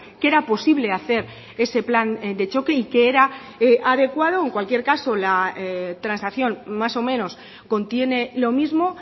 que era posible hacer ese plan de choque y que era adecuado en cualquier caso la transacción más o menos contiene lo mismo